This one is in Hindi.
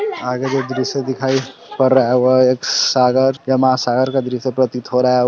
--आगे जो दृश्य दिखाई पड़ रहा है वह एक सागर या महासागर का दृश्य प्रतीत हो रहा है।